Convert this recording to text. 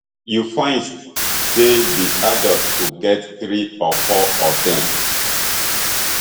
you find say di adult go get three or four of dem